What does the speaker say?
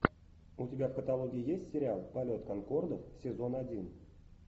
у тебя в каталоге есть сериал полет конкордов сезон один